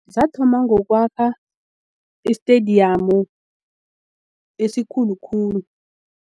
Zathoma ngokwakha i-stadium esikhulu khulu.